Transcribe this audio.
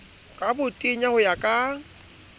ka botenya ho ya ka